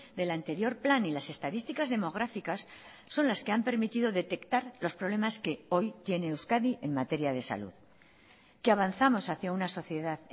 del anterior plan y las estadísticas demográficas son las que han permitido detectar los problemas que hoy tiene euskadi en materia de salud que avanzamos hacia una sociedad